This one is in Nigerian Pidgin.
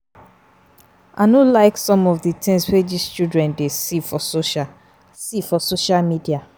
I no like some of the things wey dis children dey see for social see for social media